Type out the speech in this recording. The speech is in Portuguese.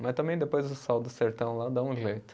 Mas também depois o sol do sertão lá dá um jeito.